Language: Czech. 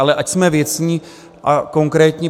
Ale ať jsme věcní a konkrétní.